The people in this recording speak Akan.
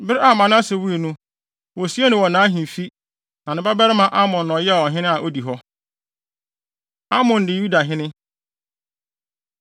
Bere a Manase wui no, wosiee no wɔ nʼahemfi. Na ne babarima Amon na ɔyɛɛ ɔhene a odi hɔ. Amon Di Yudahene